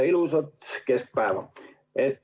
Ilusat keskpäeva!